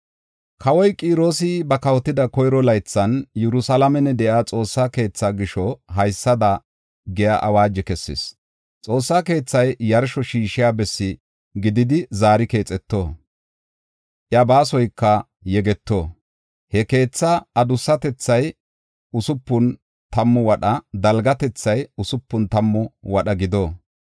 “Kawoy Qiroosi ba kawotida koyro laythan, Yerusalaamen de7iya Xoossaa keethaa gisho, haysada giya awaajo kessis. Xoossaa keethay yarsho shiishiya bessi gididi zaari keexeto; iya baasoyka yegeto. He keetha adussatethay usupun tammu wadha, dalgatethay usupun tammu wadha gido.